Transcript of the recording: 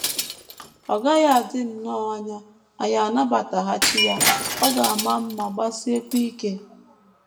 Ọ gaghị adị nnọọ anya anyị anabataghachi ya ọ ga - ama mma, gbasiekwa ike! ”